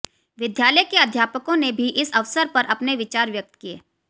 विद्यालय के अध्यापकों ने भी इस अवसर पर अपने विचार व्यक्त किए